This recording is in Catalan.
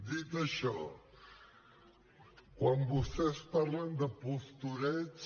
dit això quan vostès parlen de postureig